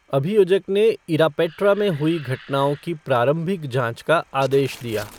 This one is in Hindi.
अभियोजक ने इरापेट्रा में हुई घटनाओं की प्रारंभिक जाँच का आदेश दिया।